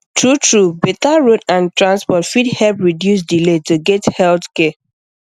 truetrue better road and transport fit help reduce delay to get health care